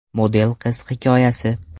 Model qiz hikoyasi.